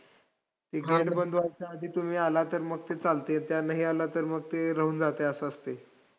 ते gate बंद व्हायच्या आधी तुम्ही आलात तर मग ते चालतंय. आणि नाई आलात तर ते राहून जातंय असं असतंय.